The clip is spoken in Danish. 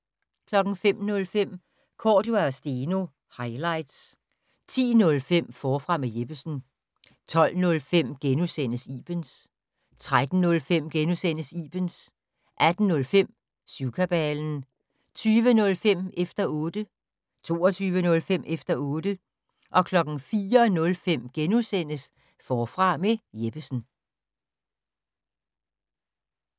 05:05: Cordua & Steno - highlights 10:05: Forfra med Jeppesen 12:05: Ibens * 13:05: Ibens * 18:05: Syvkabalen 20:05: Efter 0tte 22:05: Efter otte 04:05: Forfra med Jeppesen *